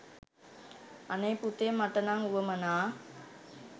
අනේ පුතේ මට නම් වුවමනා